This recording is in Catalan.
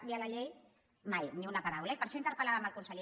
via la llei mai ni una paraula eh i per això interpel·làvem el conseller